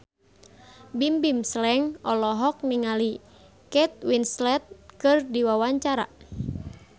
Bimbim Slank olohok ningali Kate Winslet keur diwawancara